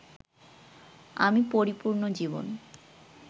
আমি পরিপূর্ণ জীবন